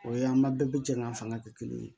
O ye an ba bɛɛ bi jɛ ka fanga kɛ kelen ye